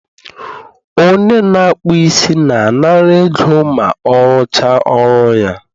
onye na-akpụ isi na-anara ego ma ọrụcha ọrụ ya